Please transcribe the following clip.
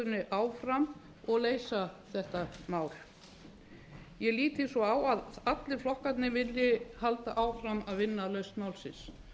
samstöðunni áfram og leysa þetta mál ég lít því svo á að allir flokkarnir vilji halda áfram að vinna að lausn málsins